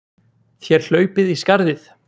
Þér hlaupið í skarðið!